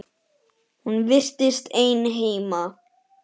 Hún virtist ein heima.